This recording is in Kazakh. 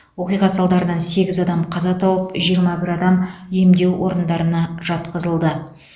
оқиға салдарынан сегіз адам қаза тауып жиырма бір адам емдеу орындарына жатқызылды